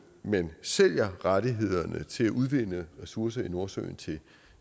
man sælger rettighederne til at udvinde ressourcer i nordsøen til